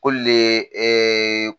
Ko le ɛɛ